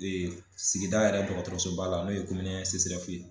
Ee sigida yɛrɛ dɔgɔtɔrɔsoba la n'o ye komoni ɛn seserɛfu ye